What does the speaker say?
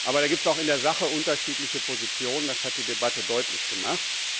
Aber da gibt es auch in der Sache unterschiedliche Positionen, das hat die Debatte deutlich gemacht.